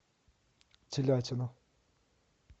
телятина